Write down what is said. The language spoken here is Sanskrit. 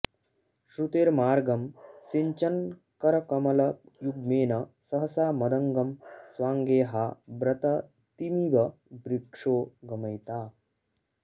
श्रुतेर्मार्गं सिञ्चन्करकमलयुग्मेन सहसा मदङ्गं स्वाङ्गे हा व्रततिमिव वृक्षो गमयिता